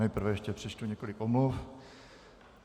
Nejprve ještě přečtu několik omluv.